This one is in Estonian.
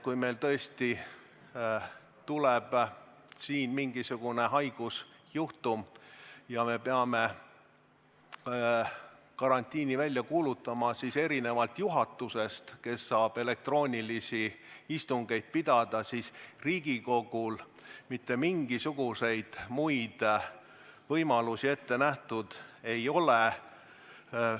Kui meil tõesti tuleb mingisugune haigusjuhtum ja me peame karantiini välja kuulutama, siis erinevalt juhatusest, kes saab elektroonilisi istungeid pidada, Riigikogul mitte mingisuguseid muid võimalusi ei ole.